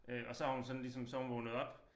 Øh og så har hun sådan ligesom så har hun vågnet op